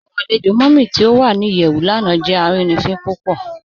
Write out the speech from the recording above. Awọn alẹ̀jọ Mummy ti o wà ní iyẹwù lánà jẹ arínifin púpọ̀.